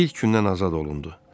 İlk gündən azad olundu.